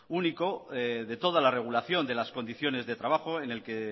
único de toda la regulación de las condiciones de trabajo en el que